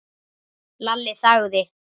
Lalli þagði.